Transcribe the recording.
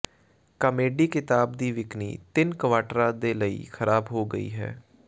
comedy ਕਿਤਾਬ ਦੀ ਵਿਕਰੀ ਤਿੰਨ ਕਵਾਟਰਾਂ ਦੇ ਲਈ ਖਰਾਬ ਹੋ ਗਈ ਹੈ